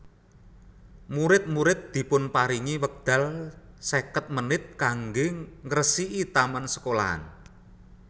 Murid murid dipunparingi wekdal seket menit kangge ngresiki taman sekolahan